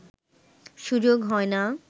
সুযোগ হয় না